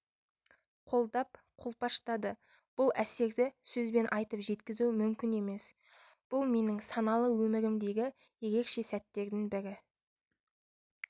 қолдап-қолпаштады бұл әсерді сөзбен айтып жеткізу мүмкін емес бұл менің саналы өмірімдегі ерекше сәттердің бірі